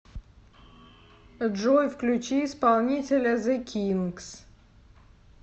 джой включи исполнителя зэ кинкс